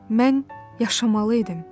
Mən yaşamalı idim.